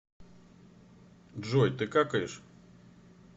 джой ты какаешь